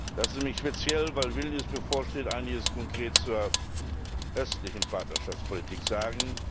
Lassen Sie mich speziell, weil Vilnius bevorsteht einiges konkret zur östlichen Partnerschaftspolitik sagen.